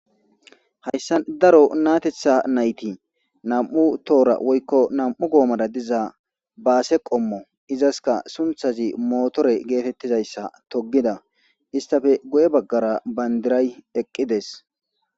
Hayssa daro natetha nayti nam'u toora woykko nam'u goomada diza baase qommo izaska sunthazi mootore geetettizayssa togida istafe go7e baggara bandiray eqqides.